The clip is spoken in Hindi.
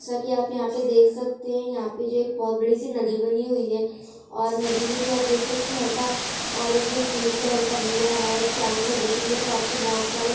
जैसा की आप यहाँ पे देख सकते है यहाँ पे जो एक बहोत बड़ी-सी नदी बनी हुई है और नदी में जो आप देख सकते है हल्का ऑरेंज एंड ग्रीन कलर का व्यू आ रहा है चारो साइड देखेंगे तो आपको बहोत सारे----